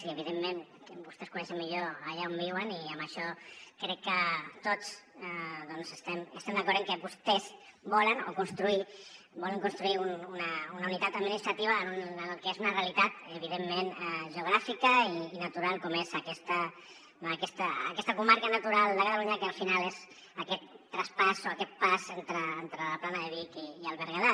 i evidentment que vos tès coneixen millor allà on viuen i amb això crec que tots estem d’acord amb que vostès volen construir una unitat administrativa en el que és una realitat evidentment geogràfica i natural com és aquesta comarca natural de catalunya que al final és aquest traspàs o aquest pas entre la plana de vic i el berguedà